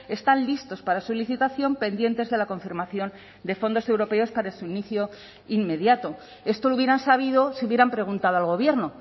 están listos para su licitación pendientes de la confirmación de fondos europeos para su inicio inmediato esto lo hubieran sabido si hubieran preguntado al gobierno